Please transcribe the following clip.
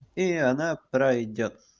и она пройдёт